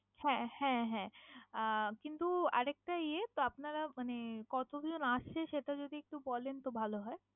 হ্যাঁ হ্যাঁ হ্যাঁ আহ কিন্তু আর একটা ইয়ে, তো আপনারা মানে কতজন আসছেন? সেটা যদি একটু বলেন তো ভালো হয়।